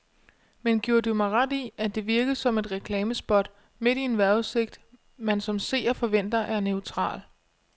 Men giver du mig ret i, at det virkede som et reklamespot midt i en vejrudsigt, man som seer forventer er neutral.